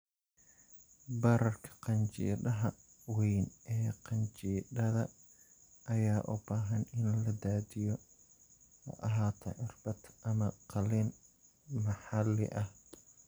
Bararka qanjidhada weyn ee qanjidhada ayaa u baahan in la daadiyo, ha ahaato irbad ama qaliin maxalli ah.